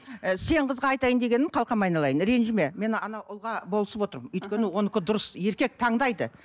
і сен қызға айтайын дегенім қалқам айналайын ренжіме мен анау ұлға болысып отырмын өйткені онікі дұрыс еркек таңдайды